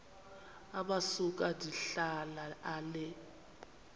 amasuka ndihlala ale